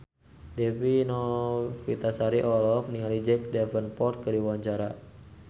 Dewi Novitasari olohok ningali Jack Davenport keur diwawancara